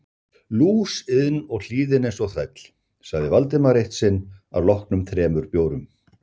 Lúsiðin og hlýðin eins og þræll sagði Valdimar eitt sinn að loknum þremur bjórum.